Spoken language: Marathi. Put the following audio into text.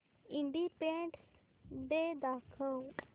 इंडिपेंडन्स डे दाखव